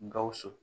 Gawusu